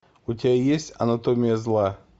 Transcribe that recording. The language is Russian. у тебя есть анатомия зла